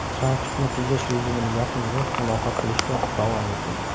Trafikni tejash rejimini yoqing va muloqot qilishda davom eting.